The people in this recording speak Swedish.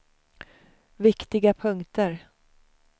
viktiga punkter